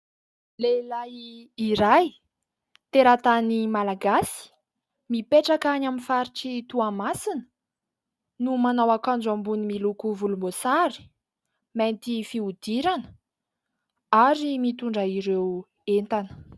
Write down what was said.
Lehilahy iray teratany Malagasy, mipetraka any amin'ny faritr'i Toamasina no manao akanjo amboniny miloko volomboasary, mainty fihodirana ary mitondra ireo entana.